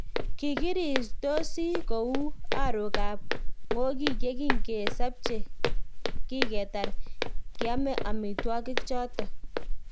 Kikirirstosi kou arok ab ng'okik ye kingesapche kigetar kiame amitwagik choton